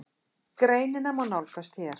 Greinina má nálgast hér.